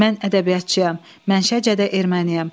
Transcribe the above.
Mən ədəbiyyatçıyam, mənşəcə də erməniyəm.